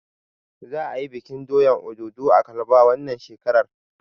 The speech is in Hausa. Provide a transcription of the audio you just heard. Za a yi bikin doyan Obudu a kalaba wannan shekarar.